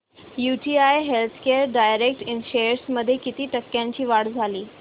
UTI healthcare direct shares मध्ये किती टक्क्यांची वाढ झाली